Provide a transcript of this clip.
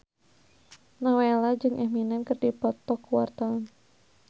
Nowela jeung Eminem keur dipoto ku wartawan